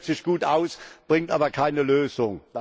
Das hört sich gut an, bringt aber keine Lösung.